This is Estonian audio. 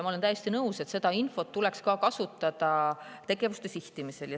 Ma olen täiesti nõus, et seda infot tuleks kasutada tegevuste sihtimisel.